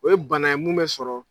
O ye bana ye mun bɛ sɔrɔ